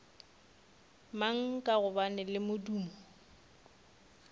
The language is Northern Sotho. mang ka gobane le modumo